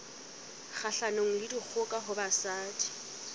kgahlanong le dikgoka ho basadi